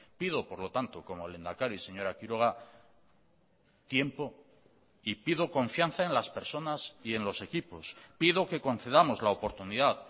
pido por lo tanto como lehendakari señora quiroga tiempo y pido confianza en las personas y en los equipos pido que concedamos la oportunidad